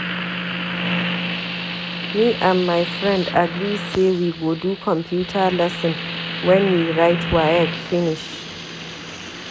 Me and my friend agree sey we go do computer lesson wen we write WAEC finish.